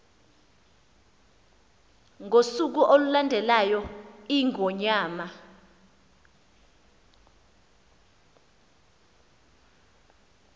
ngosuku olulandelayo iingonyama